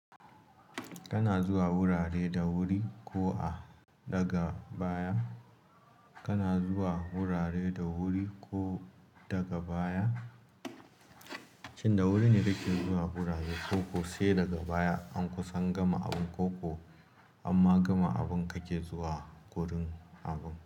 Kana zuwa wurare da wuri ko a daga baya, kana zuwa wurare da wuri ko daga baya, shin da wuri ne kake zuwa wurare koko se daga baya an kusan gama abun ko ko an ma gama abun kake zuwa wurin abun.